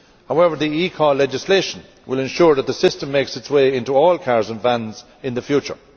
However, the eCall legislation will ensure that the system makes its way into all cars and vans in the future.